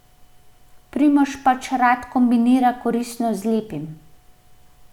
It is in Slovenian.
Primož pač rad kombinira koristno z lepim.